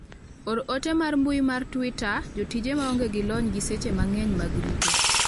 or ote mar mbui mar twita jotije maonge gi lony gi seche mang'eny mag rito